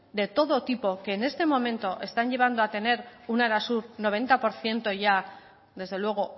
de todo tipo que en este momento están llevando a tener un arasur noventa por ciento ya desde luego